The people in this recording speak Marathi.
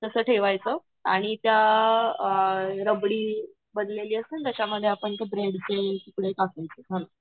तस ठेवायचं आणि त्या अ रबडी बनलेली असेल ना त्या मध्ये अपन ते ब्रेड चे तुकडे टाकायचे